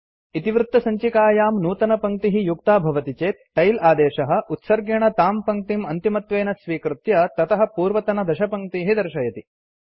39 000459 000408 इतिवृत्तसञ्चिकायां नूतनपङ्क्तिः युक्ता भवति चेत् टेल आदेशः उत्सर्गेण तां पङ्क्तिम् अन्तिमत्वेन स्वीकृत्य ततः पूर्वतनदशपङ्क्तीः दर्शयति